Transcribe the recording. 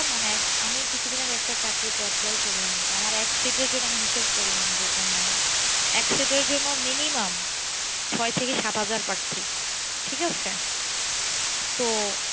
মানে আমি কিছুদিন আগে একটা চাকরিতে apply করলাম তো আমার এক seat এর জন্য আমি হিসেব করলাম যে তোমার এক seat এর জন্য় minimum ছয় থেকে সাত হাজার প্রার্থী ঠিক আছে তো,